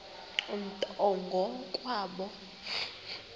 nto ngo kwabo